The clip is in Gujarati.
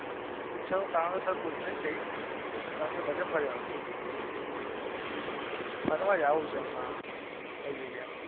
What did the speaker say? અમુક ઈચ્છાઓ કારણ સર પુરી નઈ થઈ બાકી બધું ફરી આયો. ફરવા જાવું છે આમાં બધી જગ્યા એ.